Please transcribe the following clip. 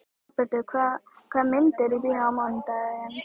Dagbjartur, hvaða myndir eru í bíó á mánudaginn?